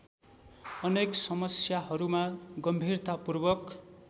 अनेक समस्याहरूमा गम्भीरतापूर्वक